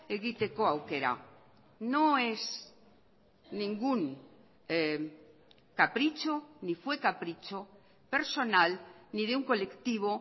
egiteko aukera no es ningún capricho ni fue capricho personal ni de un colectivo